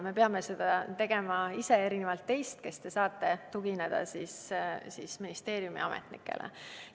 Me peame seda tegema ise, erinevalt teist, kes te saate tugineda ministeeriumi ametnikele.